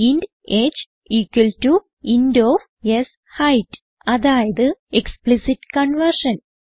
int h equal to int of ഷെയ്ത് അതായത് explicit conversion